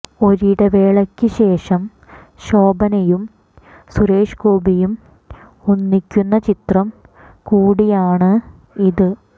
ഒരിടവേളയ്ക്ക് ശേഷം ശോഭനയും സുരേഷ് ഗോപിയും ഒന്നിക്കുന്ന ചിത്രം കൂടിയാണ് ഇത്